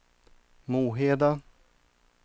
Moheda